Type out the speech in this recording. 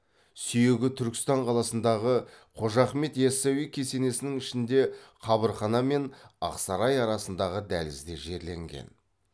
сүйегі түркістан қаласындағы қожа ахмет ясауи кесенесінің ішінде қабырхана мен ақсарай арасындағы дәлізде жерленген